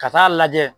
Ka taa lajɛ